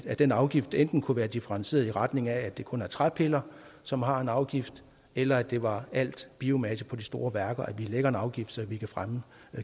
den afgift enten kunne være differentieret i retning af at det kun er træpiller som har en afgift eller at det var al biomasse på de store værker altså at vi lægger en afgift så vi kan fremme